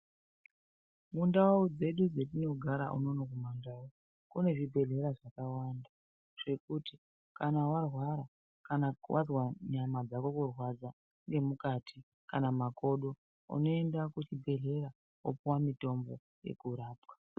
Mundau dzedu dzetinogara unono kumaNdau, kune zvibhedhlera zvakawanda, zvekuti kana warwara-kana wazwa nyama dzako kurwadza nemukati kana makodo, unoenda kuchibhedhlera wopiwa mitombo yekurapwa.